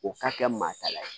O ka kɛ maa ta ye